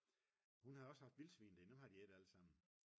hun har også haft vildsvin nu har de ædt allesammen